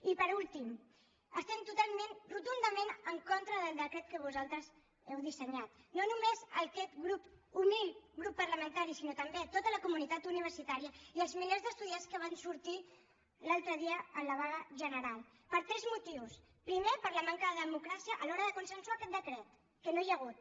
i per últim estem totalment rotundament en contra del decret que vosaltres heu dissenyat no només aquest grup humil grup parlamentari sinó també tota la comunitat universitària i els milers d’estudiants que van sortir l’altre dia en la vaga general per tres motius primer per la manca de democràcia a l’hora de consensuar aquest decret que no n’hi ha hagut